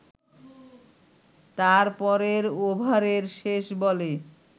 তার পরের ওভারের শেষ বলে